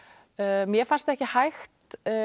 mér fannst ekki hægt